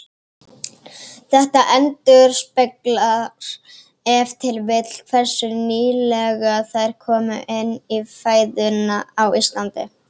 Þetta endurspeglar ef til vill hversu nýlega þær komu inn í fæðuna á Íslandi.